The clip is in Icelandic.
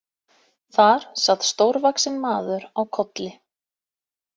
Þar sat stórvaxinn maður á kolli.